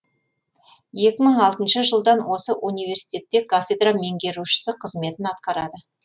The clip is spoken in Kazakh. екі мың алтыншы жылдан осы университетте кафедра меңгерушісі қызметін атқарады